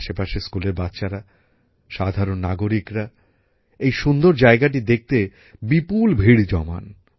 আশেপাশের স্কুলের বাচ্চারা সাধারণ নাগরিকরা এই সুন্দর জায়গাটি দেখতে বিপুল ভিড় জমান